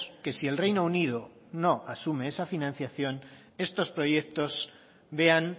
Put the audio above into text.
que si el reino unido no asumen esa financiación estos proyectos vean